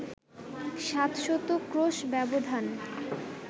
সাত শত ক্রোশ ব্যবধান